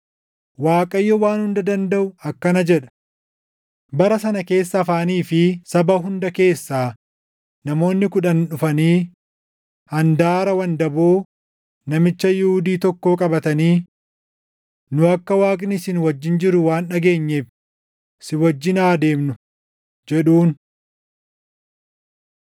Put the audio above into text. Waaqayyo Waan Hunda Dandaʼu akkana jedha: “Bara sana keessa afaanii fi saba hunda keessaa namoonni kudhan dhufanii handaara wandaboo namicha Yihuudii tokkoo qabatanii, ‘Nu akka Waaqni isin wajjin jiru waan dhageenyeef, si wajjin haa deemnu’ jedhuun.”